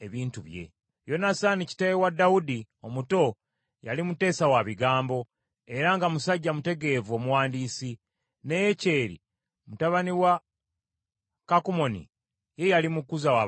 Yonasaani, kitaawe wa Dawudi omuto yali muteesa wa bigambo, era nga musajja mutegeevu omuwandiisi, ne Yekyeri mutabani wa Kakumoni ye yali mukuza w’abalangira.